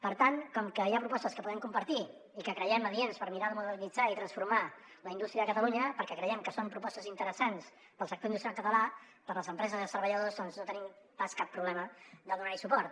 per tant com que hi ha propostes que podem compartir i que creiem adients per mirar de modernitzar i transformar la indústria de catalunya perquè creiem que són propostes interessants per al sector industrial català per a les empreses i els treballadors doncs no tenim pas cap problema a donar hi suport